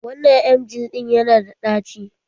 Wannan emgyl ɗin yana da ɗaci.